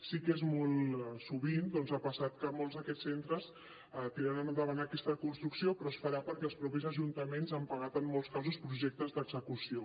sí que molt sovint doncs ha passat que molts d’aquests centres tiren endavant aquesta construcció però es farà perquè els mateixos ajuntaments han pagat en molts casos projectes d’execució